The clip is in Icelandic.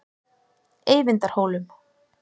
Eyvindarhólum